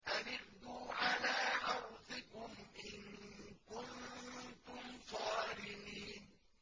أَنِ اغْدُوا عَلَىٰ حَرْثِكُمْ إِن كُنتُمْ صَارِمِينَ